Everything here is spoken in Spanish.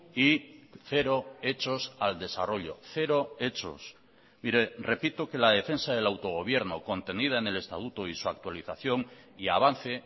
y cero hechos al desarrollo cero hechos mire repito que la defensa del autogobierno contenida en el estatuto y su actualización y avance